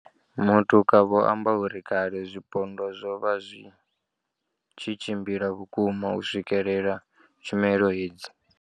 Matuka vho amba uri kale zwipondwa zwo vha zwi tshi tshimbila vhukuma u swikelela tshumelo hedzi.